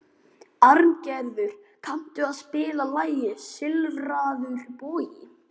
Arngerður, kanntu að spila lagið „Silfraður bogi“?